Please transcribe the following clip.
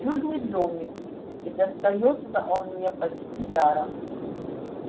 чудный домик и достаётся он мне почти даром